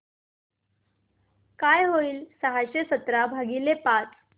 काय होईल सहाशे सतरा भागीले पाच